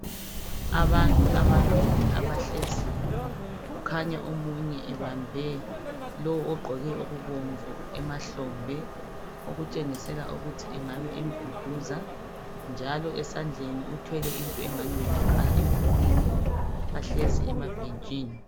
Abantu ababili abahleziyo kukhanya omunye ebambe lo ogqoke okubomvu emahlombe ekutshengisela ukuthi engabe emduduza njalo esandleni uthwele into engani ngumakhala ekhukhwini bahlezi emabhentshini.